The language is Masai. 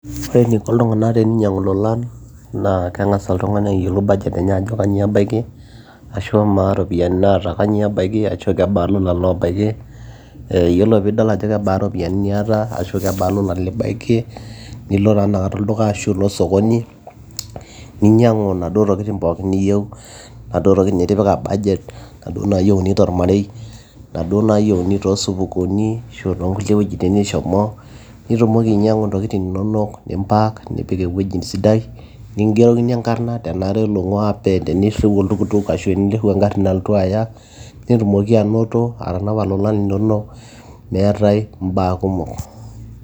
ore eniko iltung'anak teninyiang'u ilolan naa keng'as oltung'ani ayiolou budget enye ajo kanyio ebaiki ashu amaa iropiyiani naata kanyio ebaiki ashu kebaa ilolan loobaiki eh, yiolo piidol ajo kebaa iropiyiani niata ashu kebaa ilolan libaiki nilo taa inakata olduka ashu ilo osokoni ninyiang'u inaduo tokitin pookin niyieu naduo tokitin nitipika budget naduo naayieuni tormarei naduo naayieuni toosupukuni ashu toonkulie wuejitin nishomo nitumoki ainyiang'u intokitin inonok nim pack nipik ewueji sidai nikingerokini enkarrna tenara oloing'ua pee enirriu oltukutuk ashu enirriu engarri nalotu aya netumoki anoto atanapa ilolan linonok meetae imbaa kumok.